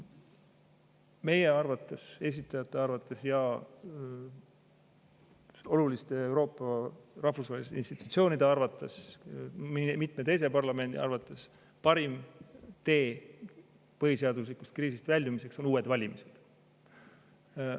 Meie arvates, esitajate arvates ja Euroopa oluliste rahvusvaheliste institutsioonide arvates, ka mitme teise parlamendi arvates parim tee põhiseaduslikkuse kriisist väljumiseks on uued valimised.